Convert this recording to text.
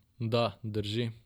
Da, drži.